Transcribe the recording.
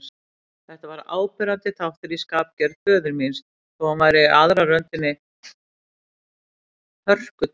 Þetta var áberandi þáttur í skapgerð föður míns, þó hann væri í aðra röndina hörkutól.